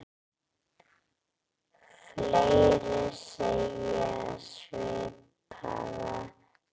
Fleiri segja svipaða sögu.